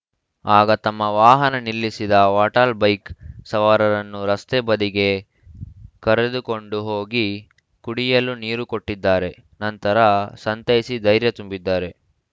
ಆಗ ತಮ್ಮ ವಾಹನ ನಿಲ್ಲಿಸಿದ ವಾಟಾಳ್‌ ಬೈಕ್‌ ಸವಾರರನ್ನು ರಸ್ತೆ ಬದಿಗೆ ಕರೆದುಕೊಂಡು ಹೋಗಿ ಕುಡಿಯಲು ನೀರು ಕೊಟ್ಟಿದ್ದಾರೆ ನಂತರ ಸಂತೈಸಿ ಧೈರ್ಯ ತುಂಬಿದ್ದಾರೆ